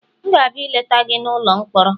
M ga-abịa ileta gị n'ụlọ mkpọrọ